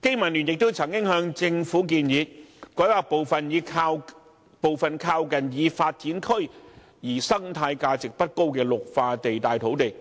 經民聯亦曾經向政府建議，改劃部分靠近已發展區而生態價值不高的綠化地帶土地，